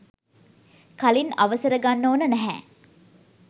කලින් අවසර ගන්න ඕන නැහැ.